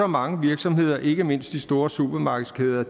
mange virksomheder ikke mindst de store supermarkedskæder